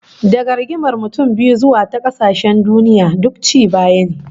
Daga rigimar mutum biyu zuwa ta kasashen duniya, duk ci baya ne